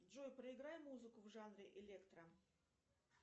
джой проиграй музыку в жанре электро